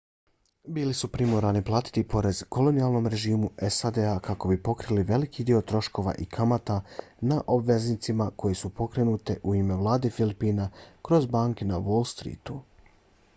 bili su primorani platiti poreze kolonijalnom režimu sad-a kako bi pokrili veliki dio troškova i kamata na obveznice koje su pokrenute u ime vlade filipina kroz banke na wall streetu